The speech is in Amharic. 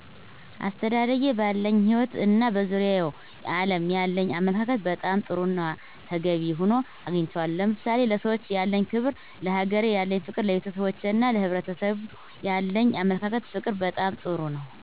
አስተዳደጌ ባለኝ ህይወት እና በዙሪያው ዓለም ያለኝ አመለካከት በጣም ጥሩና ተገቢ ሆኖ አግኝቸዋለሁ። ለምሳሌ፦ ለሰዎች ያለኝ ክብር፣ ለሀገሬ ያለኝ ፍቅር፣ ለቤተሰቦቼና ለሕብረሰቡ ያለኝ አመለካከትና ፍቅር በጣም ጥሩ ነው።